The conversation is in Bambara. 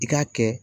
I k'a kɛ